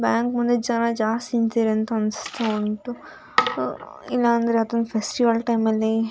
bank ಮುಂದೆ ಜನ ಜಾಸ್ತಿ ನಿಂತಿರೊ ಅಂತೆ ಅನ್ಸ್‌ತಾ ಉಂಟು ಅಹ್ ಇಲ್ಲಾಂದ್ರೆ ಯಾವ್ದೋ ಒಂದ್ ಫೆಸ್ಟಿವಲ್‌ ಟೈಮಲ್ಲಿ --